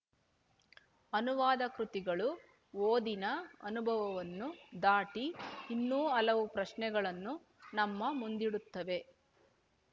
ಅನುವಾದ ಕೃತಿಗಳು ಓದಿನ ಅನುಭವನ್ನೂ ದಾಟಿ ಇನ್ನೂ ಹಲವು ಪ್ರಶ್ನೆಗಳನ್ನು ನಮ್ಮ ಮುಂದಿಡುತ್ತವೆ